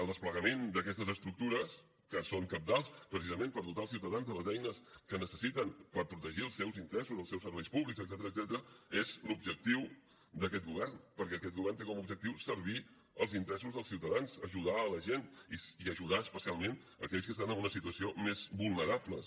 el desplegament d’aquestes estructures que són cabdals precisament per dotar els ciutadans de les eines que necessiten per protegir els seus interessos els seus serveis públics etcètera és l’objectiu d’aquest govern perquè aquest govern té com a objectiu servir els interessos del ciutadans ajudar la gent i ajudar especialment aquells que estan en una situació més vulnerable